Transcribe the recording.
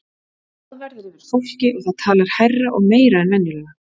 Glaðværð er yfir fólki og það talar hærra og meira en venjulega.